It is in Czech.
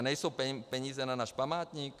A nejsou peníze na náš památník?